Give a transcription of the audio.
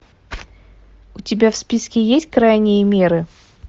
у тебя в списке есть крайние меры